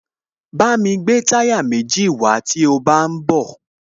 Bámi gbé táyà méjì wàá tí o bá ń bọ̀